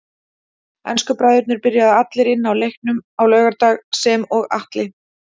Ensku bræðurnir byrjuðu allir inn á í leiknum á laugardag sem og Atli.